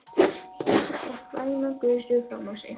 Hann fékk væna gusu framan á sig.